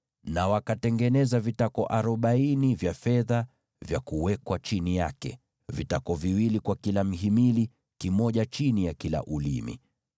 na wakatengeneza vitako arobaini vya fedha vya kuweka chini ya hiyo mihimili, vitako viwili kwa kila mhimili, kimoja chini ya kila ulimi.